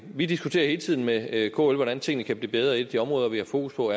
vi diskuterer hele tiden med kl hvordan tingene kan blive bedre et af de områder vi har fokus på